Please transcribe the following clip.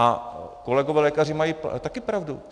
A kolegové lékaři mají také pravdu.